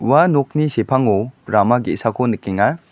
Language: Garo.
ua nokni sepango rama ge·sako nikenga.